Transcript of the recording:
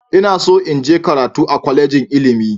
Ina so in je karatu a kwalejin ilimi.